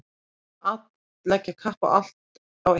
Að leggja allt kapp á eitthvað